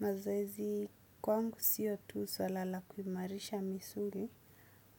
Mazoezi, kwangu sio tu suala la kumarisha misuli,